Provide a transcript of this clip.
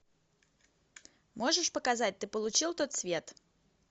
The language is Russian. можешь показать ты получил тот свет